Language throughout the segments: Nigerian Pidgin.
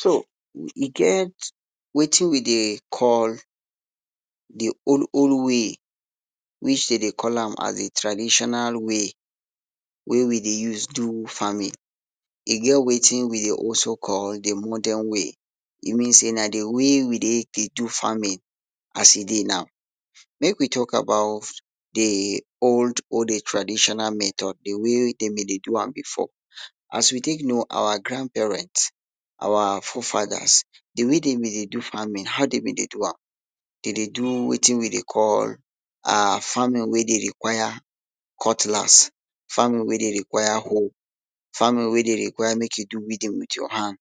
So e get watin we dey call di old old way, which dey dey call am as di traditional way wey we dey use do farming, e get watin we dey also call di modern way, e mean say na di way we dey dey do farming as e dey now. Make we talk about di old old traditional method di wey dem dey do am before. As we take know our grandparent our forefathers di way de be dey do farming, how de be dey do am, de dey do watin we dey call um farming wey dey require cutlass, farming wey dey require hoe, farming wey dey require make you do weeding wit ya hand,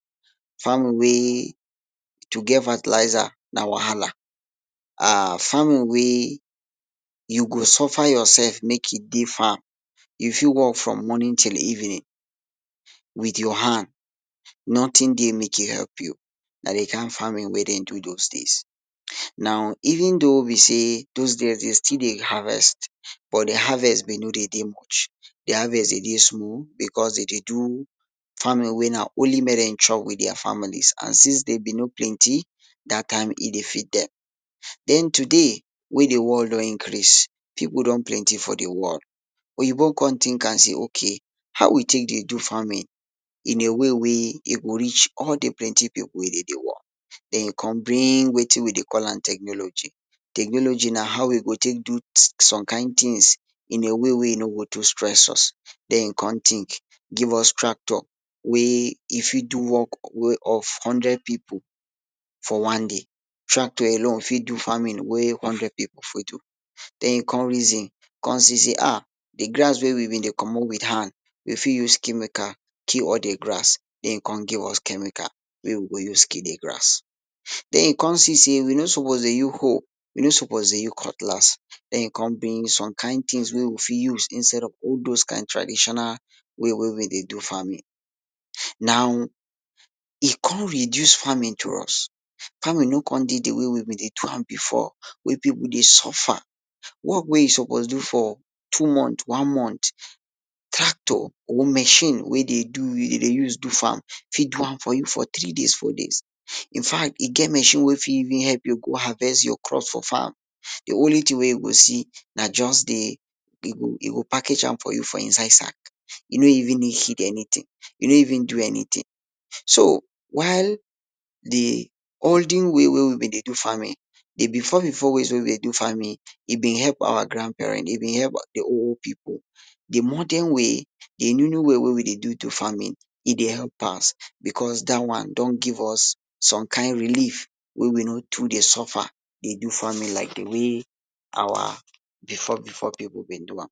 farming wey to get fertilizer na wahala, um farming wey you go suffer ya self make you dey farm you fit work from morning till evening wit ya hand notin dey make e help you na di kain farming wey dem do those days. Now even tho be say be say those days de still dey harvest but dia harvest be no dey dey much dia harvest dey dey small because de dey do farming wey na only make dem chop wit dia families and since dem be no plenty dat time e dey feed dem. Den today, wey di world don increase, pipu don plenty for di world, oyinbo come tink am say okay how we take dey do farming in a way wey e go reach all di plenty pipu wey dem dey world den e come bring watin we dey call am technology, technology na how we go take do some kain tins in a way wey e no go too stress us, den e come think give us tractor wey e fit do work wey of hundred pipu for one day, tractor alone fit do farming wey hundred pipu fit do den e come reason come see sey um di grass wey we be dey commot wit hand we fit use chemical kill all di grass den e come give us chemical wey we go use kill di grass, den e come see sey we no suppose dey use hoe we no suppose dey use cutlas den e come bring some kain tins wey we fit be use instead of all dose traditional way wey we dey do farming. Now e come reduce farming to us, farming no come dey di way we be dey do am before wey pipu dey suffer, work wey you suppose do for two month, one month tractor or machine wey dey do e dey use do farm fit do am for you for tiree days four days. In fact e get machine wey fit even help you go harvest ya crop for farm di only tin wey you go see na just di e go package am for inside sack e no even need anytin e no even do anytin so while di olden way wey we be dey do farming di before before ways wey we dey do farming e been help our grandparent e been help whole pipu, di modern way di new new way wey we do to farming e dey help pass because dat one don give us some kain relieve wey we no too dey suffer dey do farming like di way our before before pipu dey do am.